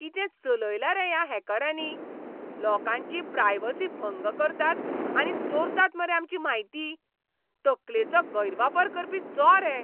कितें चलयलां रे ह्या हॅकरांनी? लोकांची प्रायवसी भंग करतात आनी चोरतात मरे आमची म्हायती? तकलेचो गैरवापर करपी चॉर हे!